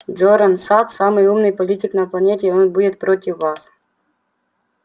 джоран сатт самый умный политик на планете и он будет против вас